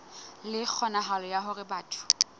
le kgonahalo ya hore batho